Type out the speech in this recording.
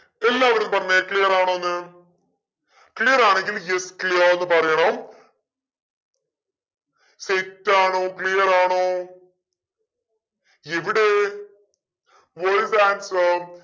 എല്ലാവരും പറഞ്ഞെ clear ആണോന്ന് clear ആണെങ്കിൽ yes clear എന്നു പറയണം set ആണോ clear ആണോ ഇവിടെ